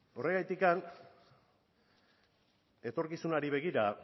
horregatik etorkizunari begira